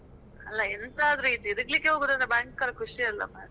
ಅಲ ಎಂತಾದ್ರೂ ಈ ತೀರ್ಗ್ಲಿಕ್ಕೆ ಹೋಗುದಂದ್ರೆ ಭಯಂಕರ ಖುಷಿ ಅಲ ಮಾರೆ.